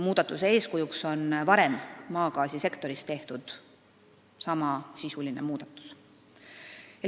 Muudatuse eeskujuks on varem maagaasisektoris tehtud samasisuline muudatus.